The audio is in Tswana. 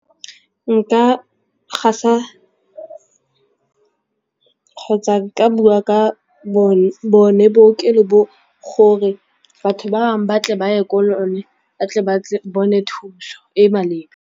Nka gasa kgotsa ka bua ka bone bookelo bo gore batho bangwe ba tle ba ye ko ba tle ba tle bone thuso e maleba.